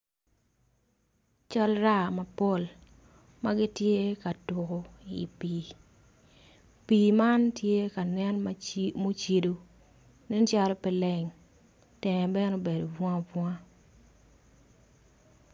Cal raa mapol magitye ka tuku i pii. pii ma tye ka nen mucido nen calo pe leng tenge bene obedo bunga bunga